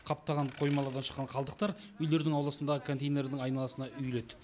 қаптаған қоймалардан шыққан қалдықтар үйлердің ауласындағы контейнердің айналасына үйілед